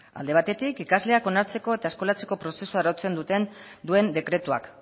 alde batetik ikasleak onartzeko eta eskolatzeko prozesua arautzen duen dekretuak